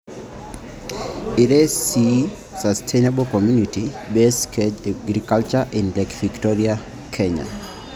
ire C aaa Sustainable Community-Based Cage Aquaculture in Lake Victoria, Kenya.